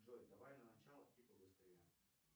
джой давай на начало и побыстрее